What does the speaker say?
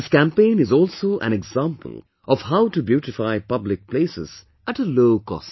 This campaign is also an example of how to beautify public places at a low cost